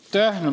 Aitäh!